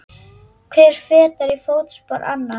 Hver fetar í fótspor annars.